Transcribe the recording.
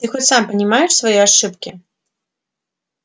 ты хоть сам понимаешь свои ошибки